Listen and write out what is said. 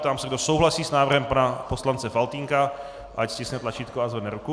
Ptám se, kdo souhlasí s návrhem pana poslance Faltýnka, ať stiskne tlačítko a zvedne ruku.